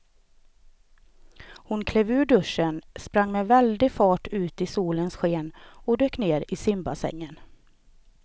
Hon klev ur duschen, sprang med väldig fart ut i solens sken och dök ner i simbassängen.